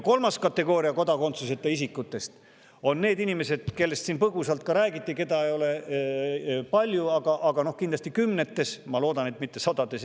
Kolmandasse kategooriasse kodakondsuseta isikud, kellest siin põgusalt ka räägiti ja keda ei ole palju, aga kindlasti kümneid, ma loodan, et mitte sadu ja tuhandeid.